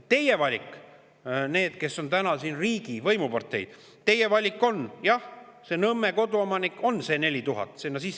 Teie valik – need, kes on täna riigi võimuparteid –, on see, et jah, Nõmme koduomanikul on see 4000 eurot.